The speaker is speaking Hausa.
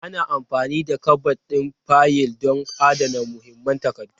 Ana amfani da kabad ɗin fayil don adana muhimman takardu.